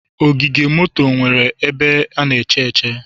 Ogige moto nwere ebe echere.